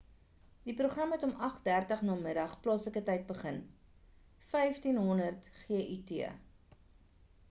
die program het om 8:30 n.m. plaaslike tyd begin 15.00 gut